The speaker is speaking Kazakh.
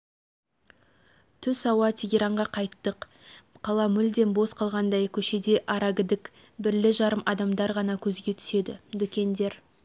түс ауа тегеранға қайттық қала мүлдем бос қалғандай көшеде арагідік бірлі-жарым адамдар ғана көзге түседі дүкендер